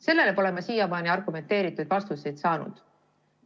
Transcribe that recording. Sellele pole ma siiamaani argumenteeritud vastuseid saanud.